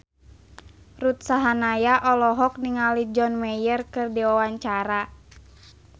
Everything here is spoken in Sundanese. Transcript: Ruth Sahanaya olohok ningali John Mayer keur diwawancara